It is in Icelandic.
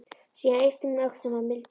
Síðan ypptir hún öxlum og mildast.